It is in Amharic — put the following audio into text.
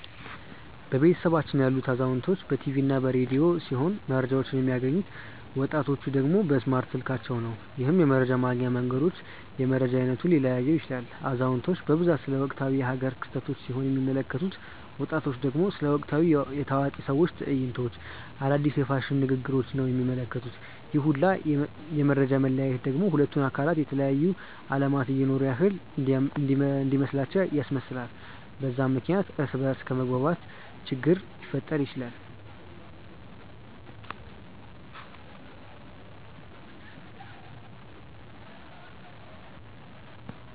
በቤተሰባችን ያሉት አዛውንቶች በ ቲቪ እና በ ረዲዮ ሲሆም መረጃቸውን የሚያገኙት፤ ወጣቲቹ ደግሞ በእስማርት ስልካቸው ነው። ይህም የመረጃ ማግኛ መንገድ የመረጃ አይነቱን ሊለያየው ይችላል። አዛውንቲቹ በብዛት ስለ ወቅታዊ የ ሃገር ክስተቶች ሲሆን የሚመለከቱት፤ ወጣቱ ደግሞ ስለ ወቅታዊ የ ታዋቂ ሰዎች ትዕይንቶች፣ አዳዲስ የ ፋሽን ንግግሪች ነው የሚመለከቱት፤ ይህ ሁላ የ መፈጃ መለያየት ደግሞ ሁለቱን አካላት የተለያየ አለማት እየኖሩ ያክል እንዲመስላቸው ያስመስላል፤ በዛም ምክንያት እርስ በ እርስ ከመግባባት ችግር ሊፈጠር ይችላል።